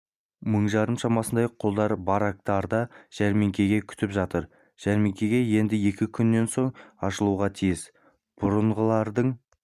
мың жарым шамасындай құлдар барактарда жәрмеңке күтіп жатыр жәрмеңке енді екі күннен соң ашылуға тиіс бұрынғылардың